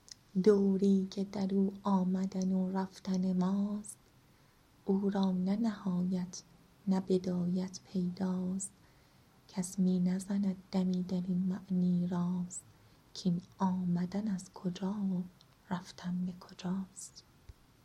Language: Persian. دوری که در او آمدن و رفتن ماست او را نه نهایت نه بدایت پیداست کس می نزند دمی در این معنی راست کاین آمدن از کجا و رفتن به کجاست